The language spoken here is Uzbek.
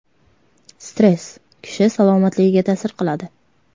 Stress kishi salomatligiga ta’sir qiladi.